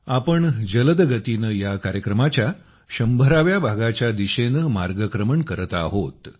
आपण जलदगतीने या कार्यक्रमाच्या 100 व्या भागाच्या दिशेने मार्गक्रमण करत आहोत